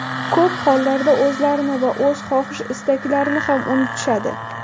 Ko‘p hollarda, o‘zlarini va o‘z xohish-istaklarini ham unutishadi.